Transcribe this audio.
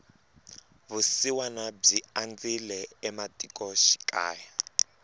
vusiwana byi andzile ematiko xikaya